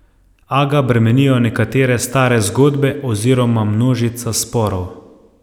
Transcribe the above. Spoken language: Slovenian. A ga bremenijo nekatere stare zgodbe oziroma množica sporov.